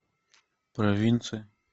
провинция